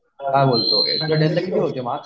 काय बोलतो किती होते मार्क्स